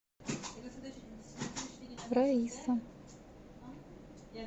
раиса